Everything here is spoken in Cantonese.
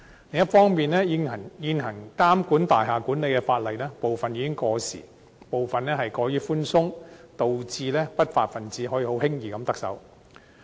另一方面，監管大廈管理的現行法例部分已經過時，也過於寬鬆，導致不法分子可以輕易地得逞。